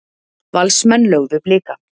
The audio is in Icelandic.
Valsmenn lögðu Blika